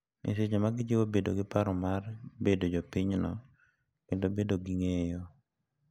e seche ma gijiwo bedo gi paro mar bedo jopinyno kendo bedo gi ng’eyo.